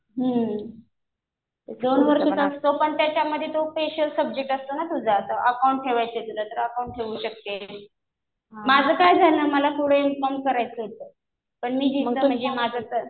हम्म. दोन वर्षाचा असतो. पण त्याच्यामध्ये स्पेशल सब्जेक्ट असतो ना तुझा . अकाउंट ठेवायचं तुला तर अकाउंट ठेऊ शकतेस. माझं काय झालं, मला पुढे एम.कॉम करायचं होतं. पण मी इथं म्हणजे माझं